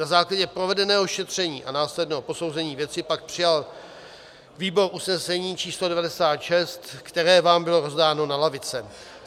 Na základě provedeného šetření a následného posouzení věci pak přijal výbor usnesení č. 96, které vám bylo rozdáno na lavice.